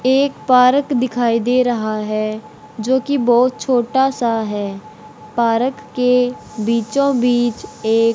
एक पारक दिखाई दे रहा है जोकि बहोत छोटा सा है पारक के बीचो बीच एक--